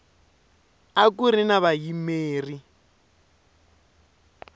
a ku ri na vayimeri